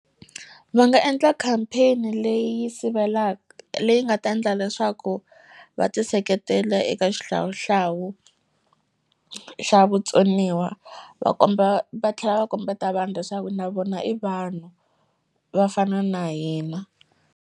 Va nga endla campaign leyi leyi nga ta endla leswaku va ti seketela eka xihlawuhlawu xa vutsoniwa va komba va tlhela va kombeta vanhu leswaku na vona i vanhu va fana na hina.